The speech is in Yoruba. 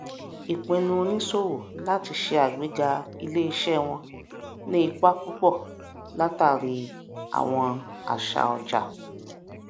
ìpinnu oníṣòwò láti ṣe agbega iléiṣẹ wọn ní ipa púpọ látàrí àwọn àṣà ọjà